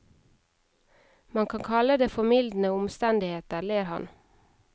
Man kan kalle det formildende omstendigheter, ler han.